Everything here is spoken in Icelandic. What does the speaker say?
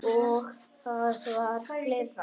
Og það var fleira.